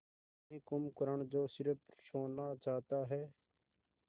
वही कुंभकर्ण जो स़िर्फ सोना चाहता है